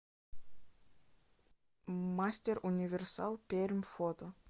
мастер универсал пермь фото